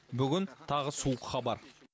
бүгін тағы суық хабар